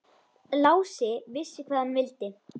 Lási vissi hvað hann vildi.